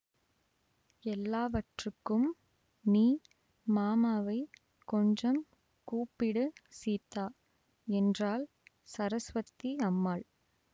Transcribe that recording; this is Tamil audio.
எல்லாவற்றுக்கும் நீ மாமாவைக் கொஞ்சம் கூப்பிடு சீதா என்றாள் சரஸ்வதி அம்மாள்